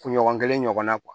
Kunɲɔgɔn kelen ɲɔgɔnna